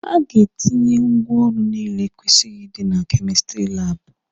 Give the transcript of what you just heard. A ga-etinye ngwaọrụ niile kwesịrị ịdị na kemistiri laabụ.